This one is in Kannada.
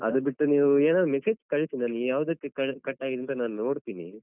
ಅದು ಬಿಟ್ಟು ನೀವೂ ಏನಾದ್ರು massage ಕಳಿಸಿದಲ್ಲಿ ಯಾವದಕ್ಕೆ cut ಆಗಿದೆ ಅಂತ ನೋಡ್ತಿನಿ.